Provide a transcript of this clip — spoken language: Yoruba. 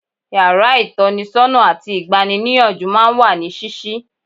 Yàrá ìtọ́nisọ́nà àti ìgbani-níyànjú máa ń wà ní ṣíṣí.